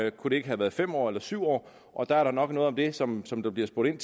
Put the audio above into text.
ikke kunne have været fem år eller syv år og der er da nok noget om det som som der bliver spurgt ind